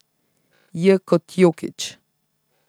J kot Jokić.